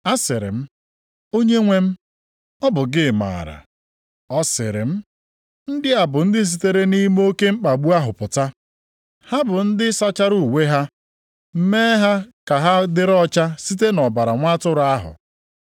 Asịrị m, “Onyenwe m, ọ bụ gị maara.” Ọ sịrị m, “Ndị a bụ ndị sitere nʼime oke mkpagbu ahụ pụta. Ha bụ ndị sachara uwe ha, mee ha ka ha dịrị ọcha site nʼọbara Nwa Atụrụ ahụ.